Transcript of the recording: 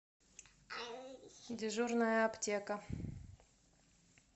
дежурная аптека